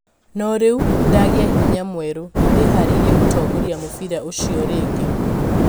No riũ nindagia hinya mwerũ, nĩndiharĩirie gũtongoria mũbira ũcio rĩngĩ